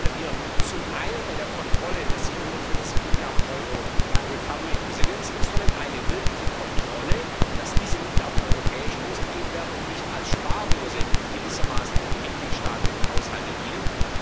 Deswegen verlangen wir zum einen bei der Kontrolle der 750 Milliarden Euro im Recovery and Resilience Instrument eine wirkliche Kontrolle, dass diese Mittel auch europäisch ausgegeben werden und nicht gewissermaßen als Spardose für die mitgliedstaatlichen Haushalte dienen.